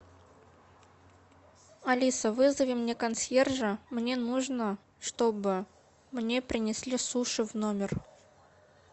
алиса вызови мне консьержа мне нужно чтобы мне принесли суши в номер